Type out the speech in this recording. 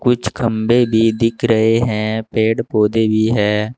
कुछ खंबे भी दिख रहे हैं पेड़ पौधे भी है।